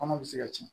Kɔnɔ bɛ se ka ci